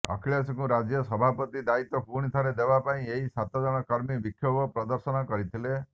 ଅଖିଳେଶଙ୍କୁ ରାଜ୍ୟ ସଭାପତି ଦାୟିତ୍ୱ ପୁଣି ଥରେ ଦେବା ପାଇଁ ଏହି ସାତ ଜଣ କର୍ମୀ ବିକ୍ଷୋଭ ପ୍ରଦର୍ଶନ କରିଥିଲେ